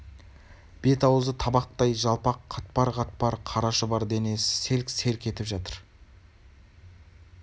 бет-аузы табақтай жалпақ қатпар-қатпар қара шұбар бар денесі селк-селк етіп жатыр